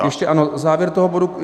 Ještě ano, závěr toho bodu.